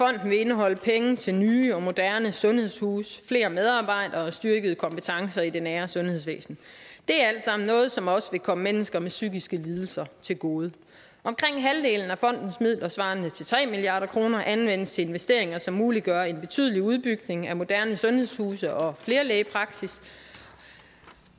vil indeholde penge til nye og moderne sundhedshuse flere medarbejdere og styrkede kompetencer i det nære sundhedsvæsen det er alt sammen noget som også vil komme mennesker med psykiske lidelser til gode omkring halvdelen af fondens midler svarende til tre milliard kroner anvendes til investeringer som muliggør en betydelig udbygning af moderne sundhedshuse og flerlægepraksisser